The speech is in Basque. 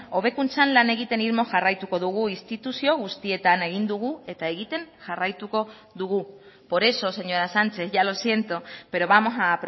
hobekuntzan lan egiten irmo jarraituko dugu instituzio guztietan egin dugu eta egiten jarraituko dugu por eso señora sánchez ya lo siento pero vamos a